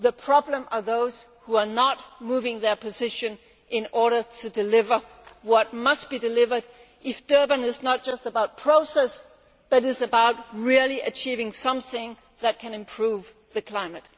The problem is those who are not moving their position in order to deliver what must be delivered if Durban is not just to be about process, but about really achieving something that can improve the climate.